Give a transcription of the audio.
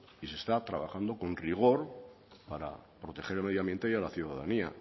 y se está trabajando con rigor para proteger el medio ambiente y a la ciudadanía